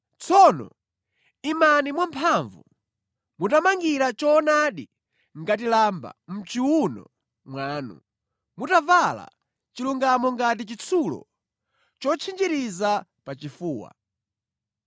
Tsono imani mwamphamvu, mutamangira choonadi ngati lamba mʼchiwuno mwanu, mutavala chilungamo ngati chitsulo chotchinjiriza pa chifuwa.